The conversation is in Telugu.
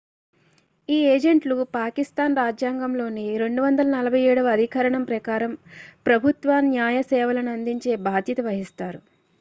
ఈ ఏజెంట్లు పాకిస్థాన్ రాజ్యాంగంలోని 247 వ అధికరణం ప్రకారం ప్రభుత్వ న్యాయ సేవలను అందించే బాధ్యత వహిస్తారు